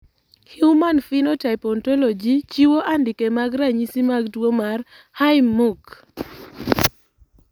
Human Phenotype Ontology chiwo andike mag ranyisi mag tuo mar Haim Munk.